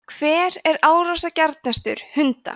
hver er árásargjarnastur hunda